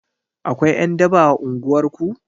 Akwai ƴan daba a unguwar ku?